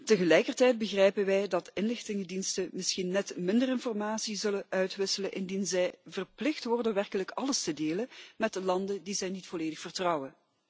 Tegelijkertijd begrijpen wij dat inlichtingendiensten misschien net minder informatie zullen uitwisselen indien zij verplicht worden werkelijk alles te delen met de landen die zij niet volledig vertrouwen.